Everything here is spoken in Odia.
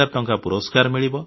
ଟଙ୍କା ପୁରସ୍କାର ମିଳିବ